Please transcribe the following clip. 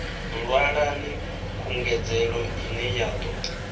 ṅwalani khungedzelo ine ya ḓo